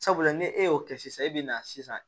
Sabula ni e y'o kɛ sisan e bɛ na sisan